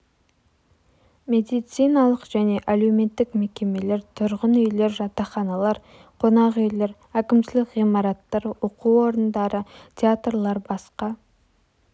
медициналық және әлеуметтік мекемелер тұрғын үйлер жатақханалар қонақ үйлер әкімшілік ғимараттар оқу орындары театрлар басқа